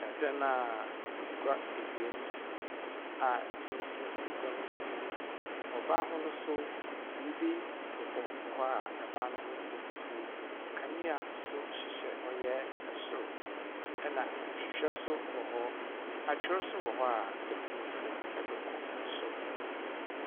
Dan a ngua ebien si mu a pon si egua no enyim, wɔ ban no ho no so, biribi bobɔ hɔ a ban no ho yɛ fufuw. Kanea so hyehyɛ ɔyɛ so, na nhwehwɛ so wɔ hɔ. Atwer so wɔ hɔ a itum fow dze kɔ sor.